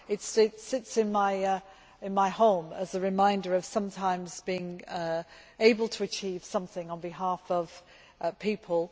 It sits in my home as a reminder of sometimes being able to achieve something on behalf of people.